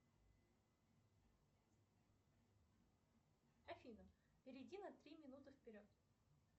афина перейди на три минуты вперед